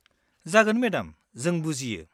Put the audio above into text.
जागोन मेडाम, जों बुजियो।